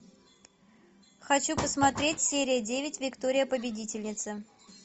хочу посмотреть серия девять виктория победительница